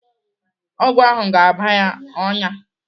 Ọgwụ ahụ ga-aba ya ọnyá.